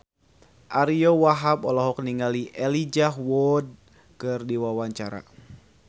Ariyo Wahab olohok ningali Elijah Wood keur diwawancara